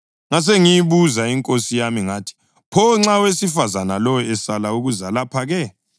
Ngasengiyibuza inkosi yami ngathi, ‘Pho nxa owesifazane lowo esala ukuza lapha-ke?’